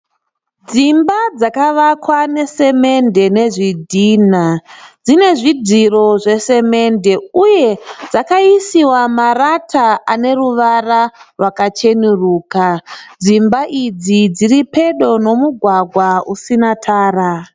Dzimba dzakawakwa nesemende nezvidhinha dzine zvidziro zvesemende uye dzakaisiwa marata ane ruvara rwakachenuruka uye dzimba idzi dziri pedo ne mugwagwa usina Tara